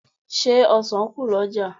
Ṣé ọ̀sàn kù lọ́jà?